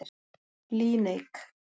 Líneik